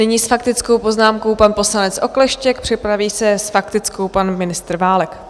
Nyní s faktickou poznámkou pan poslanec Okleštěk, připraví se s faktickou pan ministr Válek.